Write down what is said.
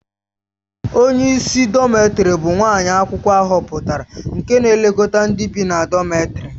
Onye isi dọmètarì bụ nwa akwụkwọ ahọpụtara nke na-elekọta ndị bị na dọmètarì